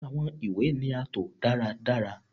Awọn iwe ni a to daradara